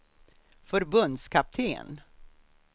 förbundskapten